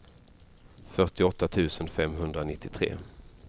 fyrtioåtta tusen femhundranittiotre